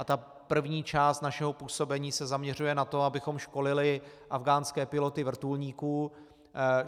A ta první část našeho působení se zaměřuje na to, abychom školili afghánské piloty vrtulníků.